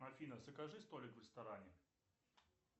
афина закажи столик в ресторане